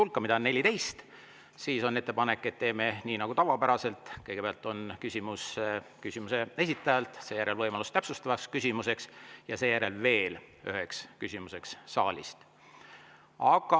Arvestades küsimuste hulka – küsimusi on 14 –, on ettepanek, et teeme nii nagu tavaliselt: kõigepealt esitab küsimuse, siis on tal võimalus täpsustavaks küsimuseks ja seejärel saalist veel ühe küsimuse.